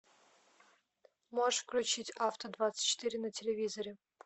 можешь включить авто двадцать четыре на телевизоре